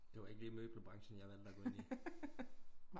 Det var ikke lige møbelbrancen jeg valgte at gå ind i